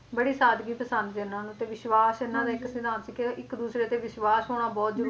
ਬੜੀ ਸਾਦਗੀ ਪਸੰਦ ਸੀ ਇਹਨਾਂ ਨੂੰ ਤੇ ਵਿਸ਼ਵਾਸ ਇਹਨਾਂ ਦਾ ਇੱਕ ਸਿਧਾਂਤ ਸੀ ਕਹਿੰਦੇ ਇੱਕ ਦੂਸਰੇ ਤੇ ਵਿਸ਼ਵਾਸ ਹੋਣਾ ਬਹੁਤ ਜਰੂਰੀ ਆ